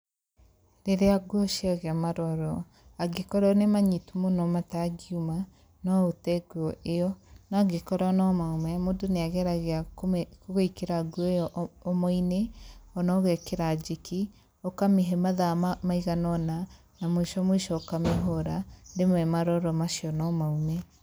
Rῖrῖa nguo ciagῖa maroro, angῖkorwo nῖ manyitu mῦno matangiuma, no ῦte nguo ῖyo, no angῖkorwo no maume mῦndῦ nῖageragia kῦmῖ gwῖkῖra nguo ῖyo o omo-inĩ ona ῦgekῖra njiki, ῦkamῖhe mathaa maigana ῦna na mῦico mῦico ῦkamῖhῦra, rῖmwe maroro mau no maume.